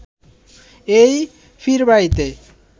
এই পীরবাড়িতে